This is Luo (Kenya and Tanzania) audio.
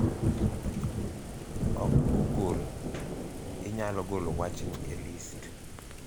Ok Google, inyalo golo wachni e list